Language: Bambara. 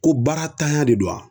Ko baara tanya de don wa